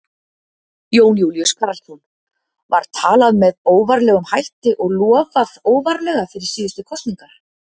Jón Júlíus Karlsson: Var talað með óvarlegum hætti og lofað óvarlega fyrir síðustu kosningar?